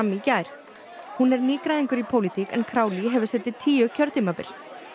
í gær hún er nýgræðingur í pólitík en hefur setið tíu kjörtímabil